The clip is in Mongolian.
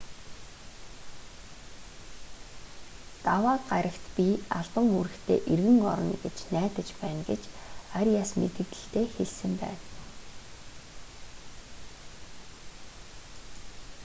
даваа гарагт би албан үүрэгтээ эргэн орно гэж найдаж байна гэж ариас мэдэгдэлдээ хэлсэн байна